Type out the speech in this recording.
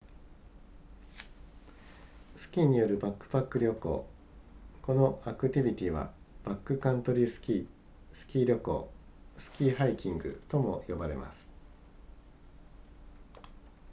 スキーによるバックパック旅行このアクティビティはバックカントリースキースキー旅行スキーハイキングとも呼ばれます